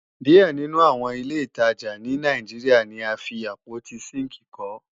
Díẹ̀ nínú àwọn ilé ìtajà ní Nàìjíríà ni a fi àpótí sínkìì kọ́